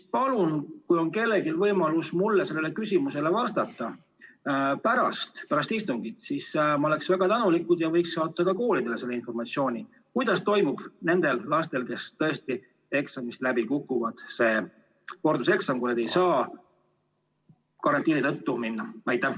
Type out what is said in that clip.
Palun, kui on kellelgi võimalus mulle sellele küsimusele vastata pärast istungit, siis ma oleksin väga tänulik, kui te võiksite anda ka koolidele informatsiooni, kuidas toimub nendel lastel, kes eksamil läbi kukuvad, korduseksam, kui nad ei saa seda karantiini tõttu teha.